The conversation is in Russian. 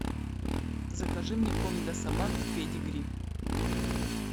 закажи мне корм для собак педигри